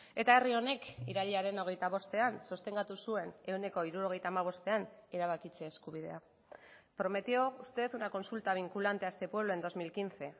eta herri honek irailaren hogeita bostean sostengatu zuen ehuneko hirurogeita hamabostean erabakitze eskubidea prometió usted una consulta vinculante a este pueblo en dos mil quince